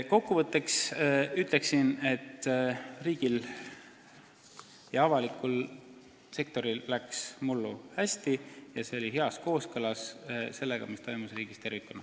Kokkuvõtteks ütleksin, et riigil ja avalikul sektoril läks mullu hästi ning see oli heas kooskõlas sellega, mis toimus riigis tervikuna.